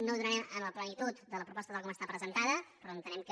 no el donarem en la plenitud de la proposta tal com està presentada però entenem que